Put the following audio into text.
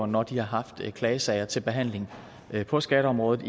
når de har haft klagesager til behandling på skatteområdet